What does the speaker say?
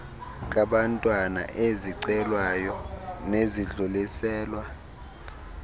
kabantwana ezixelwayo nezidluliselwa